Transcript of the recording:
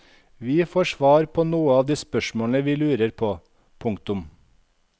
Vi får svar på noen av de spørsmålene vi lurer på. punktum